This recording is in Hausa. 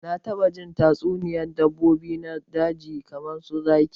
Na taba jin tatsuniyar dabbobi na daji kamar su zaki